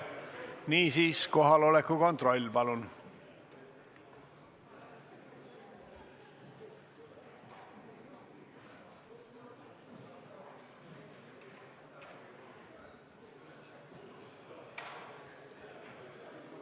Niisiis kohaloleku kontroll, palun!